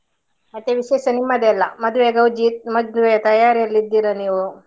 ಮತ್ತೆ ವಿಶೇಷ ನಿಮ್ಮದೇ ಎಲ್ಲಾ, ಮದ್ವೆಯ ಗೌಜಿ, ಮದ್ವೆ ತಯಾರಿ ಅಲ್ಲಿ ಇದ್ದೀರಾ ನೀವು.